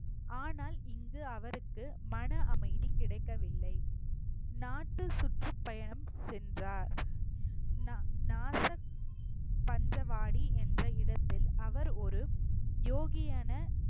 ஆனால் இங்கு அவருக்கு மன அமைதி கிடைக்கவில்லை நாட்டு சுற்றுப்பயணம் சென்றார் நா~ நாசர் பஞ்சவாடி என்ற இடத்தில் அவர் ஒரு யோகியான